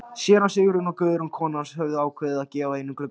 Séra Sigurjón og Guðrún kona hans höfðu ákveðið að gefa einn gluggann.